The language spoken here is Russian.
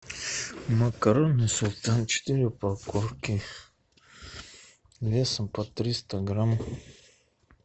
макароны султан четыре упаковки весом по триста грамм